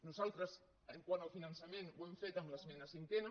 nosaltres quant al finançament ho hem fet en l’esmena cinquena